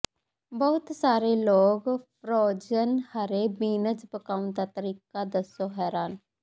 ਬਹੁਤ ਸਾਰੇ ਲੋਕ ਫ਼੍ਰੋਜ਼ਨ ਹਰੇ ਬੀਨਜ਼ ਪਕਾਉਣ ਦਾ ਤਰੀਕਾ ਦੱਸੋ ਹੈਰਾਨ